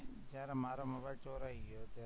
મારો મોબાઇલ ચોરાઈ ગયો તો